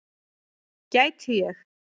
Gæti ég.